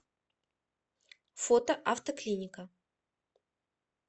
фото автоклиника